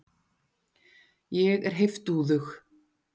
Ég er heiftúðug.